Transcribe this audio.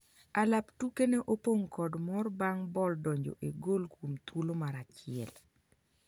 alap tuke ne opong' kod mor bang' bol donjo e gol kuom thuolo mar auchiel